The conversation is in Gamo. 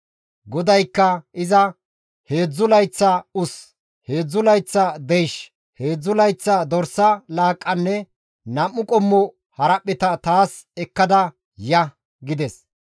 GODAYKKA iza, «Heedzdzu layththa us, heedzdzu layththa deysh, heedzdzu layththa dorsa laaqqanne nam7u qommo haraphpheta taas ekka ya» gides.